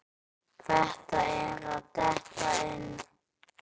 Þetta er að detta inn.